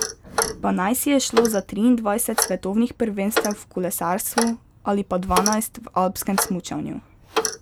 Pa naj si je šlo za triindvajset svetovnih prvenstev v kolesarstvu ali pa dvanajst v alpskem smučanju.